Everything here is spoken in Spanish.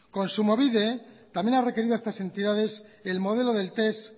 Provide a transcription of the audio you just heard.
kontsumobide también ha requerido a estas entidades el modelo del test